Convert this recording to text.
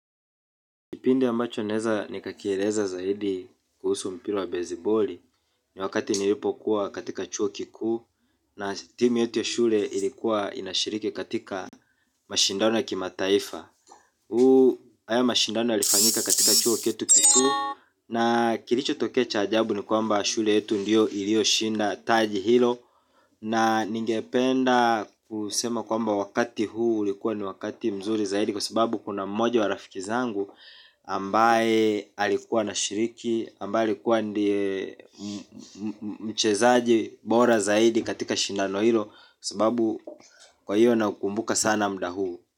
Kipindi ya ambacho naweza nikakieleza zaidi kuhusu mpira wa besiboli. Ni wakati nilipokuwa katika chuo kikuu. Na timu yetu ya shule ilikuwa inashiriki katika mashindano ya kimataifa haya mashindano yalifanyika katika chuo chetu kikuu. Na kilichotokea cha ajabu ni kwamba shule yetu ndiyo iliyoshinda taji hilo. Na ningependa kusema kwamba wakati huu ulikuwa ni wakati mzuri zaidi. Kwa sababu kuna mmoja wa rafiki zangu ambaye alikuwa anashiriki ambaye alikuwa ndiye mchezaji bora zaidi katika shindano hilo. Kwa sababu kwahiyo nakumbuka sana muda huu.